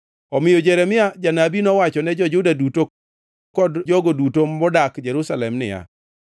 Omiyo Jeremia janabi nowachone jo-Juda duto kod jogo duto modak Jerusalem niya: